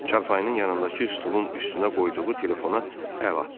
Çarpayının yanındakı stulun üstünə qoyduğu telefona əl atdı.